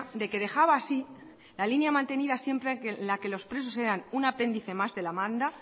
de que dejaba así la línea mantenida siempre en la que los presos eran un apéndice más de la manda